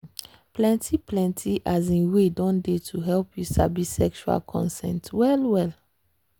um plenty plenty um way don dey to help you sabi sexual consent well well.